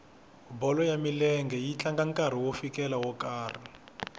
bolo ya milenge yi tlanga ku fikela nkarhi wo karhi